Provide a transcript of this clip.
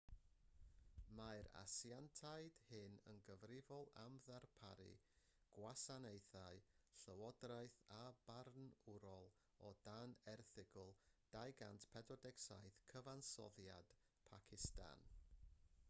mae'r asiantiaid hyn yn gyfrifol am ddarparu gwasanaethau llywodraeth a barnwrol o dan erthygl 247 cyfansoddiad pacistan